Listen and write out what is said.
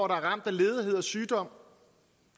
ramt af ledighed og sygdom